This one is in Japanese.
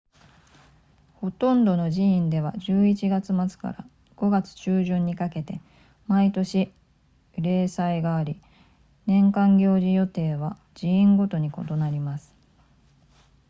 ほとんどの寺院では11月末から5月中旬にかけて毎年例祭があり年間行事予定は寺院ごとに異なります